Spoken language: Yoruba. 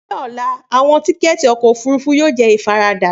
Ni ọla, awọn tikẹti ọkọ ofurufu yoo jẹ ifarada.